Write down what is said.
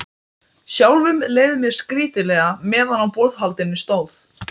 Sjálfum leið mér skrýtilega meðan á borðhaldinu stóð.